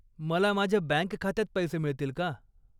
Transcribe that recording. मला माझ्या बँक खात्यात पैसे मिळतील का?